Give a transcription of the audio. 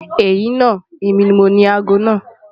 Ẹ̀yin naa, emi ni mọ̀ni àágọ́ naa.